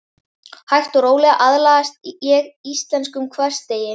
Hægt og rólega aðlagast ég íslenskum hversdegi.